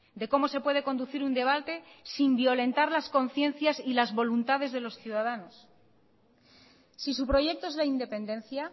de cómo se puede conducir un debate sin violentar las conciencias y las voluntades de los ciudadanos si su proyecto es la independencia